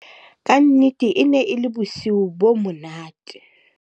ka nnete e ne e le bosiu bo monate